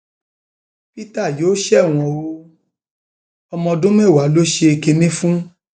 peter yóò ṣẹwọn o ọmọ ọdún mẹwàá ló ṣe kinní fún